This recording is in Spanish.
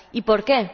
¿Y por qué?